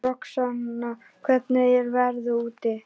Roxanna, hvernig er veðrið úti?